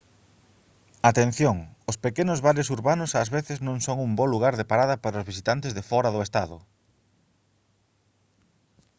atención os pequenos bares urbanos ás veces non son un bo lugar de parada para os visitantes de fóra do estado